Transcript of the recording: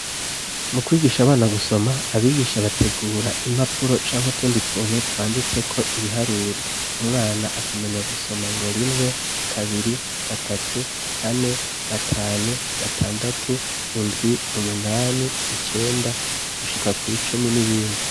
Mu kwigisha abana gusoma abigisha bategura impapuro canke utundi tuntu twanditseko ibiharuro umwana akamenya gusoma ngo rimwe kabiri, gatatu kane gatanu gatandatu indwi, umunani, icenda gushika kwicumi n'ibindi.